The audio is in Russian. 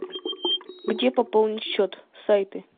где пополнить счет сайты